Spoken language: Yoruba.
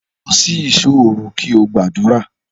Lọ sí ìṣò òru kí o gbàdúrà!